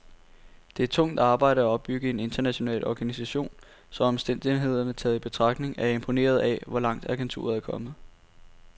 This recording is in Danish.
Det er tungt arbejde at opbygge en international organisation, så omstændighederne taget i betragtning er jeg imponeret af, hvor langt agenturet er kommet.